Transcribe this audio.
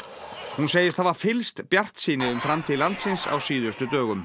hún segist hafa fyllst bjartsýni um framtíð landsins á síðustu dögum